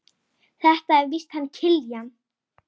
Þetta er víst hann Kiljan.